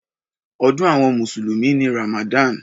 Ọdún àwọn mùsùlùmí ni Ramadan.